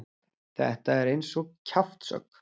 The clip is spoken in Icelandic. Þetta er eins og kjaftshögg.